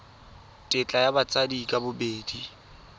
tetla ya batsadi ka bobedi